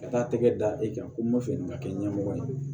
Ka taa tɛgɛ da i kan ko n ma fɛ ni ka kɛ ɲɛmɔgɔ ye